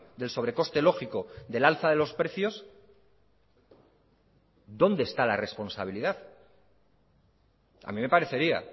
del sobre coste lógico del alza de los precios dónde está la responsabilidad a mí me parecería